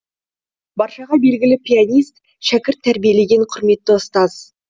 баршаға белгілі пианист шәкірт тәрбиелеген құрметті ұстаз